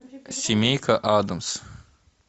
семейка адамс